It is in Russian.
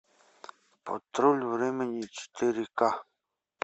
патруль времени четыре ка